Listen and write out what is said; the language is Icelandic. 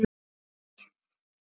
Og sama dag hrópaði